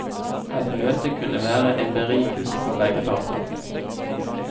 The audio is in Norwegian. Et møte kunne være en berikelse for begge parter.